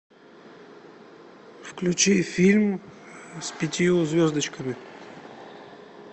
включи фильм с пятью звездочками